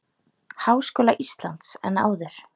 Háskóla Íslands en áður.